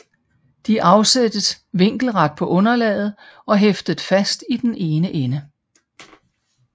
De afsættes vinkelret på underlaget og hæftet fast i den ene ende